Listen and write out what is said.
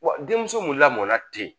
Wa denmuso mun lamɔnna ten